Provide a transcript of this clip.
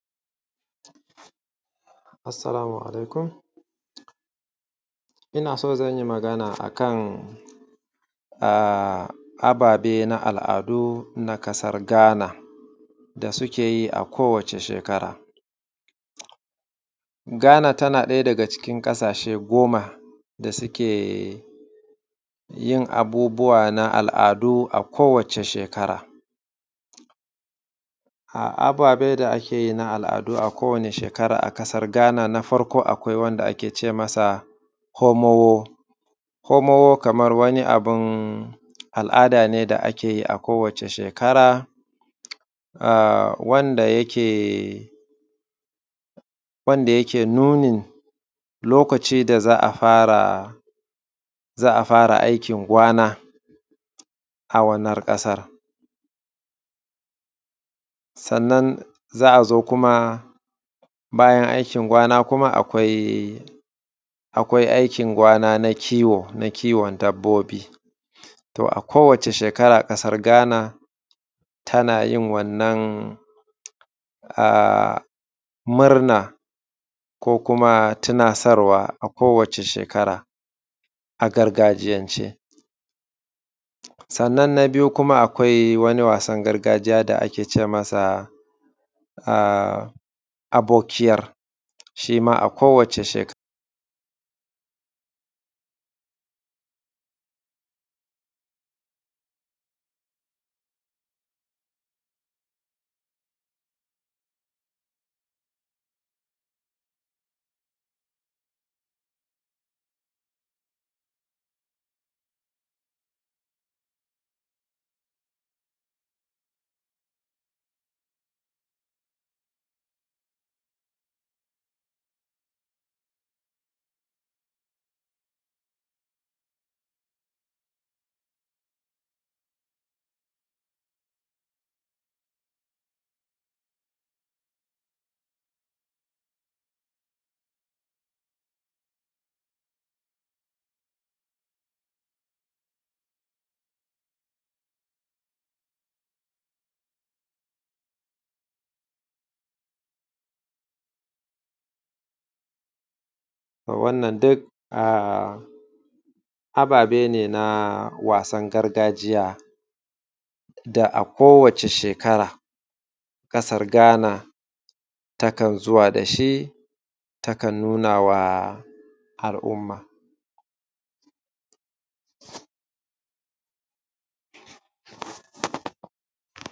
Assalamu alaikum. Ina so zan yi mmagana akan ababe na al’adu na ƙasar Gana da suke yi a kowace shekara. Gana tana ɗaya daga cikn ƙasashe goma da suke yin abubuwa na al’adu a kowace shekara a ababe da ake yi na al’adu, a kowace shekara a ƙasar gana na farko akwai wanda ake ce masa homo, homo kamar wani abun al’ada ne da ake yi a kowace shekara wanda yake nunin lokaci da za a fara aikin kwana. A wannan ƙasar sannan za a zo kuma bayan aikin kwana, akwai aikin kwana na kiwon dabbobi, to a kowace shekara ƙasar Gana tana yin wannan murna ko kuma tunasarwa a kowace shekaar a gargajiyance, sannan na biyu kuma akwai wani wasan gargajiya wanda ake ce masa abokiyar shi ma a kowace shekara wannan duk ababe ne na wasan gargajiya da a kowace shekaara ƙasar gana takan zuwa da shi takan nuna wa al’umma.